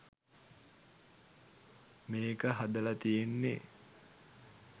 මේක හදල තියෙන්නේ